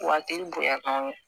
Waati bonya